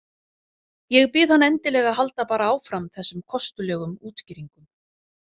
Ég bið hann endilega að halda bara áfram þessum kostulegum útskýringum.